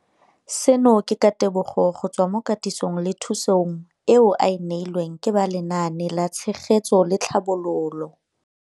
Seno ke ka ditebogo go tswa mo katisong le thu song eo a e neilweng ke ba Lenaane la Tshegetso le Tlhabololo ya.